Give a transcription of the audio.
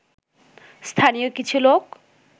স্থানীয় কিছু লোক